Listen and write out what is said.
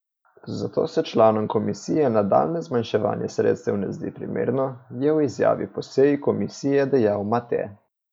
Zato se članom komisije nadaljnje zmanjševanje sredstev ne zdi primerno, je v izjavi po seji komisije dejal Mate.